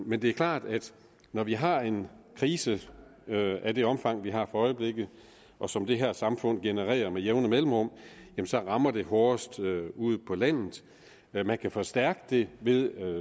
men det er klart at når vi har en krise af det omfang som vi har i øjeblikket og som det her samfund genererer med jævne mellemrum så rammer det hårdest ude på landet man man kan forstærke det ved